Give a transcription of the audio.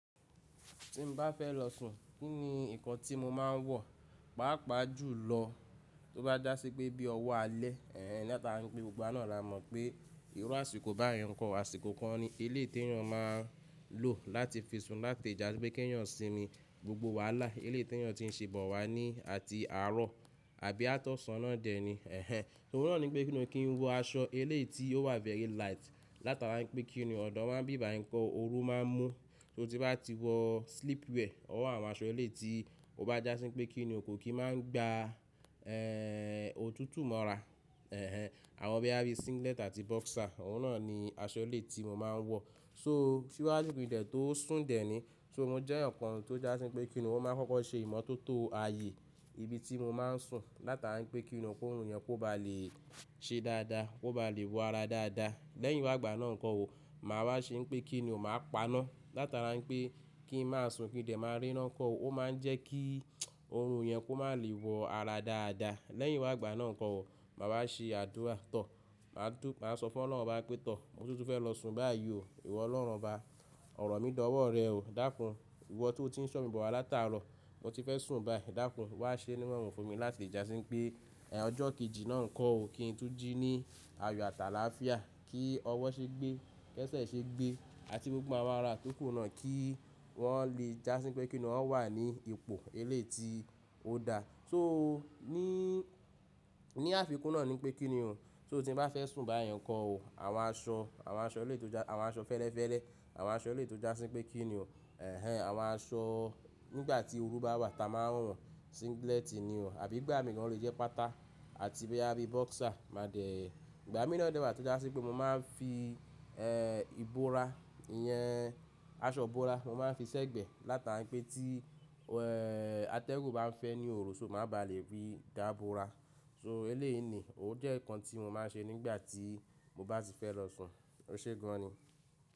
Tí mo bá fẹ́ lọ sùn, kí ni nǹkan tí mo máa ń wọ̀? Pàápàá jù lọ, tó bá jásí pé bí ọwọ́ alẹ́, ẹ́ń, látari pé gbogbo náà la mọ̀ pé ìru àsìkò báyen, nǹkan àsìkò kan ni eleyi ìtẹ̀yàn máa ń lò láti fi sùn láti ìjà sí pé kí èèyàn sinmi gbogbo wàhálà ilé ìtẹ̀yàn tí ń ṣe bọ̀ wá ní àti àárọ̀ àbí àtọ̀sán ọ̀nà dẹ ní. Ẹ̀hẹn, òun náà ní pé mo kí n wọ aṣọ eleyi tí ó wà very light látara pé kí ni ọ̀dọ́ wa ń bíbayi nko o oru máa ń mú. Torí tí bá ti wọ sleepwear, or àwọn aṣọ iléyi tí o bá jásí pé kí ni o kò kí máa ń gba, òtútù mọ́ra. Ẹ̀hẹn, àwọn bí àbí singlet àti boxer, òun náà ni aṣọ eleyi tí mo máa ń wọ̀. So, síwájú kinde tó sùn dẹ ní, so mo jẹ́ eyan kan tó jásí pé kí ni o máa ń kọ́kọ́ ṣe ìmọ́tótó aye ibi tí mo máa ń sùn látara pé kí ni kó o kórun yen ba lè ṣe dáadáa, kó ba lè wọ ara dáadáa. Lẹ́yìn wágbà náà nǹkan wò, màá wá ṣe pé kí ni o máa paná látara pé kí n máa sùn kí n de máa ríran kọ́. Ó máa ń jẹ́ kí orun yẹn kó má lè wọ ara dáadáa. Lẹ́yìn wágbà náà nǹkan wò, màá wá ṣe àdúrà tọ̀. Màá tú-- màá sọ fún Ọlọ́run bá pé tọ̀, mo ti fẹ́ lọ sùn báyìí o, ìwọ Ọlọ́run obá, ọ̀rọ̀ mí dàwọ́ rẹ o dákun. Ìwọ tí o ti ń ṣọ́'mi bọ̀ wá látara ọ, mo ti fẹ́ sùn báyìí dákun. Wá ṣe nírorun fún mi láti le jà sí pé, ọjọ́ kejì náà nǹkan ò, kí n tún jí ní àyo àtàlá fía, kí ọwọ́ ṣe gbé, kẹ́sẹ̀ ṣe gbé àti gbogbo awon ara tó kù náà kí wọ́n le jásí pé kí ni wọ́n wà ní ipò eleyi tí ó da. So ní, ní àfikún náà ni pé kí ni o, so tí mo bá fẹ́ sùn báyen nǹkan wò, àwọn aṣọ, àwọn aṣọ eleyi tọ́-jà, àwọn aṣọ fẹ́lẹ́fẹ́lẹ́, àwọn aṣọ eleyi tọ́-jàsín pé kí ni o. Ẹ̀hẹn, àwọn aṣọ nígbà tí oru bá wà ta máa ń wo, singlet ni o àbí gbà mí gan lọ jẹ́ pátà àti boya bí boxer máa dẹ̀. Ìgbà mìí na dẹ̀ wà tí ó jásí pé mo máa ń fi, ìbora yẹn, aṣọ bora mo máa ń fi sẹ́gbẹ̀ látara pé tí, atẹ́gùn bá ń fẹ́ ní oru, so má ba lè rí dá bora. So eleyìí ni, ó jẹ́ nǹkan tí mo máa ń ṣe nígbà tí mo bá ti fẹ́ lọ sùn. Ó ṣe gan ni.